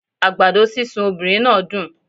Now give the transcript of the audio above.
Àgbàdo sísun obìnrin náà dùn